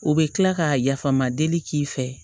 O bɛ kila ka yafama deli k'i fɛ